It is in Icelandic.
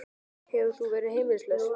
Hefur þú verið heimilislaus?